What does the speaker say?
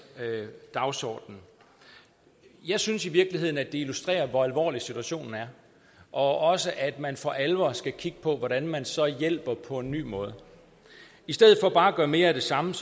dagsordenen jeg synes i virkeligheden det illustrerer hvor alvorlig situationen er og også at man for alvor skal kigge på hvordan man så hjælper på en ny måde i stedet for bare at gøre mere af det samme